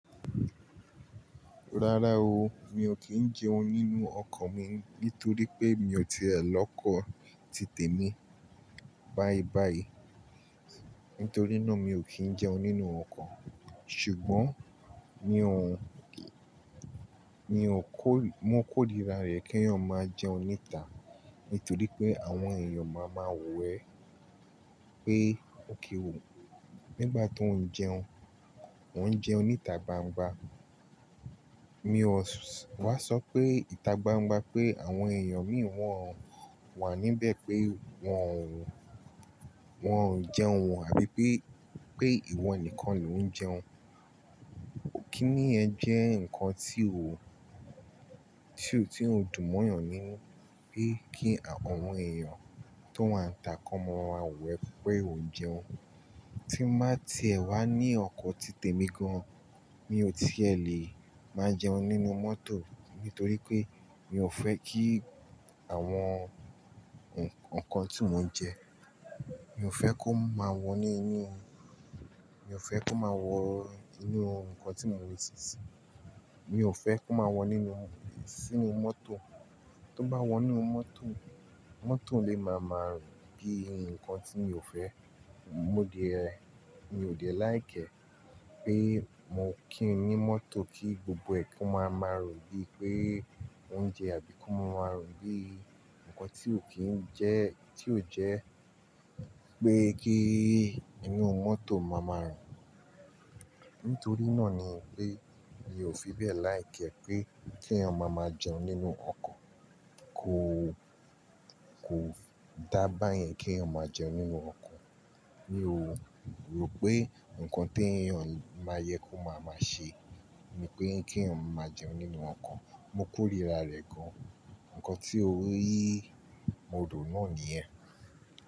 Rárá o, mi ò kí ń jẹun nínú ọkọ̀ mi nítorí pé mi ò tiẹ̀ l'ọ́kọ̀ titẹ̀ mí báyìí báyìí. Nítorí náà mi ò kí ń jẹun nínú ọkọ̀. Ṣùgbọ́n mi òun, mi ò kó, mo kórira rẹ̀ kí èèyàn máa jẹun níta nítorí pé àwọn èèyàn máa ma wo ẹ̀ pé òkè o, nígbà tó ń jẹun, wọ́n ń jẹun níta gbangba. Mi ò wá sọ pé ìta gbangba pé àwọn èèyàn mìí wọ́n wà níbẹ̀ pé wọn, wọn ò ń jẹun ò àbí pé, pé ìwọ nìkan ni ò ń jẹun. Kínì yẹn jẹ́ nǹkan tí o, tí ó dùn mọ́yàn nínú pé kí àwọn èèyàn tó wà níta kọ́mọ wo ẹ̀ pé o ń jẹun. Tí máa tiẹ̀ wá ní ọkọ̀ titẹ̀ mi gan, mi ò tiẹ̀ lè máa jẹun nínú mọ́tò nítorí pé mi ò fẹ́ kí àwọn ǹkan tí mò ń jẹ, mi ò fẹ́ kó máa wọ inú, mi ò fẹ́ kó máa wọ inú ǹkan tí mò ń wẹ̀ sísin. Mi ò fẹ́ kó máa wọ nínú, sínú mọ́tò. Tó bá wọ inú mọ́tò, mọ́tò lè máa ma rùn bíi ǹkan tí mi ò fẹ́. Mo dẹ̀, mi ò le nifẹ́ pé mo kí ń ní mọ́tò kí gbogbo ẹ̀kún máa ma rùn bíi pé ó ń jẹ àbí kó máa rùn bíi ǹkan tí ò kí ń jẹ́, tí ò jẹ́ pé kí inú mọ́tò máa ma rùn. Nítorí náà ni pé mi ò fi bẹ́ẹ̀ nìfẹ́ pé kí èèyàn máa ma jẹun nínú ọkọ̀. Kò, kò dá bá yẹn kí èèyàn máa jẹun nínú ọkọ̀. Mi ò rò pé ǹkan tí èèyàn máa yẹ kó máa ma ṣe ni pé kí èèyàn máa jẹun nínú ọkọ̀. Mo kórira rẹ̀ gan. Ǹkan tí o rí, mo rò náà nìyẹn.